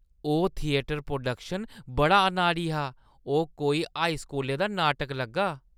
ओह्‌ theatre production बड़ा अनाड़ी हा। ओह् कोई हाई स्कूलै दा नाटक लग्गा।